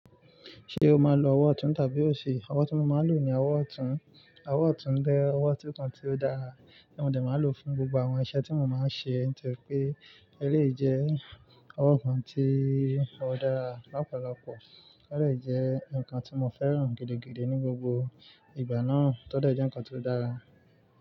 Ṣé o máa ń lo ọwọ́ ọ̀tún tàbí òsì? Ọwọ́ tí mo máa ń lò ní ọwọ́ ọ̀tún. Ọwọ́ ọ̀tún jẹ́ ọwọ́ ọ̀tún kan tí ó dára, mo dè má ń lò fún gbogbo àwọn iṣẹ́ tí mo má ń ṣe. Nítorí pé eleyii jẹ́ ọwọ́ kan tí ó dára lọ́pọ̀lọpọ̀, ó dè jẹ́ nkan tí mo fẹ́ràn gidigidi ní gbogbo ìgbà náà, to de je nkan tí ó dára.